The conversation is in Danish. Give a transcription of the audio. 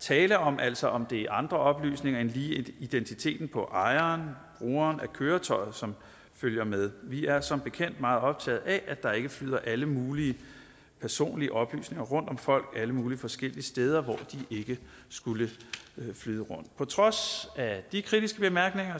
tale om altså om det er andre oplysninger end lige identiteten på ejeren brugeren af køretøjet som følger med vi er som bekendt meget optaget af at der ikke flyder alle mulige personlige oplysninger rundt om folk alle mulige forskellige steder hvor de ikke skulle flyde rundt på trods af de kritiske bemærkninger